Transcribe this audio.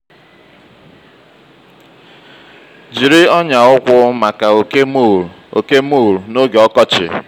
jiri ọnyà ụkwụ maka oke mole oke mole n'oge ọkọchị.